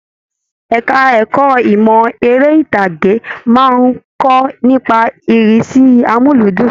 Ẹka ẹ̀kọ́ ìmọ eré itage máa n kọ nípa irisi amuludun.